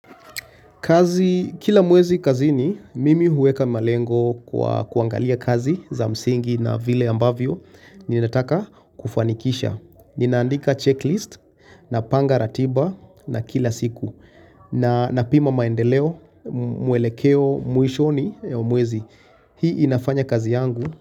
Kazi kila mwezi kazini mimi huweka malengo kwa kuangalia kazi za msingi na vile ambavyo ninataka kufanikisha. Ninaandika checklist napanga ratiba na kila siku na napima maendeleo mwelekeo mwishoni ya mwezi hii inafanya kazi yangu.